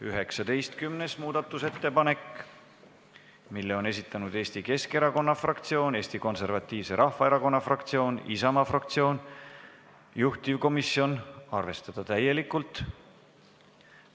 19. muudatusettepaneku on esitanud Eesti Keskerakonna fraktsioon, Eesti Konservatiivse Rahvaerakonna fraktsioon ja Isamaa fraktsioon, juhtivkomisjoni seisukoht: arvestada seda täielikult.